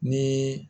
Ni